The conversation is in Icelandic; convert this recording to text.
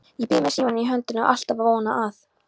Ég bíð með símann í höndunum, alltaf að vona að